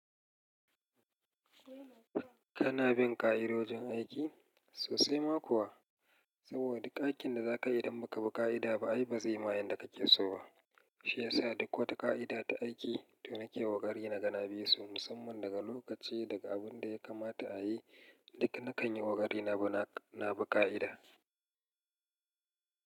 Kana bin ƙa'idojin aiki? Sosai ma kuwa, saboda duk aikin da za ka yi idan ba ka bi ƙa'ida ba ai ba zai ma yanda ka ke so ba. Shi yasa duk wata ƙa'ida ta aiki to nake ƙoƙari naga na bisu musamman daga lokaci daga abun da ya kamata a yi. Duk na kan yi ƙoƙari na bi ƙa'ida.